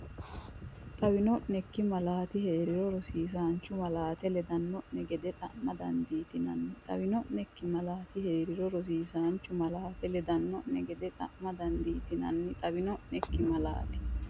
Xawino’neikki malaati hee’riro rosiisaanchu malaate ledanno’ne gede xa’ma dandiitinanni Xawino’neikki malaati hee’riro rosiisaanchu malaate ledanno’ne gede xa’ma dandiitinanni Xawino’neikki malaati.